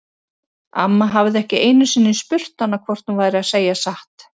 Amma hafði ekki einu sinni spurt hana hvort hún væri að segja satt.